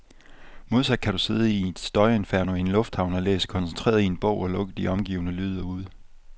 Modsat kan du sidde i et støjinferno i en lufthavn og læse koncentreret i en bog, og lukke de omgivende lyde ude.